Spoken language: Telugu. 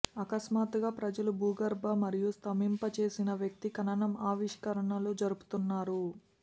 అకస్మాత్తుగా ప్రజలు భూగర్భ మరియు స్తంభింపచేసిన వ్యక్తి ఖననం ఆవిష్కరణలు జరుపుతున్నారు